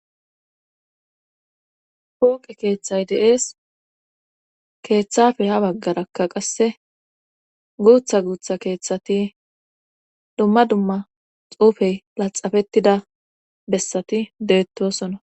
hooqe keeththay deees keeththafe ha baggarakka qasse guutha guutha keeththati dumma dumma xuufey laxafettida bessati deettosona